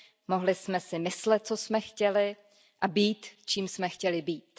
Mohli jsme si myslet, co jsme chtěli a být, čím jsme chtěli být.